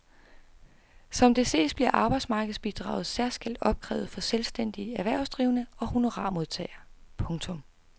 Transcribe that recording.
Som det ses bliver arbejdsmarkedsbidraget særskilt opkrævet for selvstændige erhvervsdrivende og honorarmodtagere. punktum